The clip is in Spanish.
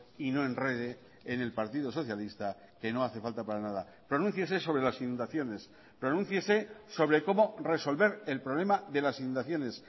y no enrede en el partido socialista que no hace falta para nada pronúnciese sobre las inundaciones pronúnciese sobre cómo resolver el problema de las inundaciones